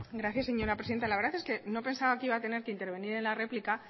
gracias señora presidenta la verdad es que no pensaba que iba a tener que intervenir en la réplica